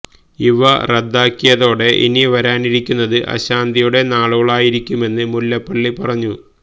ഇവ റദ്ദാക്കിയതോടെ ഇനി വരാനിരിക്കുന്നത് അശാന്തിയുടെ നാളുകളായിരിക്കുമെന്ന് മുല്ലപ്പള്ളി പറഞ്ഞു